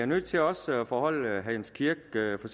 nødt til også at foreholde herre jens kirk hvad for